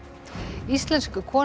íslensk kona